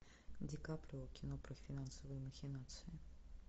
ди каприо кино про финансовые махинации